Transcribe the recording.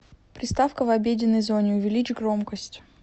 приставка в обеденной зоне увеличь громкость